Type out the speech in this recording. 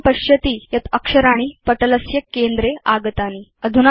भवान् पश्यति यत् अक्षराणि पटलस्य केन्द्रे स्थितानि